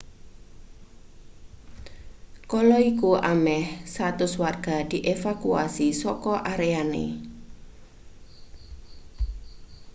kala iku ameh 100 warga dievakuasi saka areane